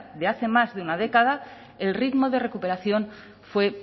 de hace más de una década el ritmo de recuperación fue